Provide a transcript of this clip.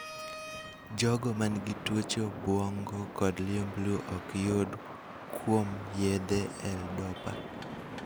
jogo manigi tuoche obuongo kod liumblu ok yud kuom yedhe L.dopa